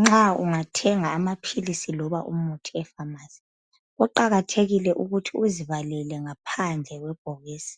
Nxa ungathenga amaphilisi loba umuthi efamasi. Kuqakathekile ukuthi uzibalele ngaphandle kwebhokisi.